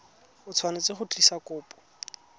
o tshwanetse go tlisa kopo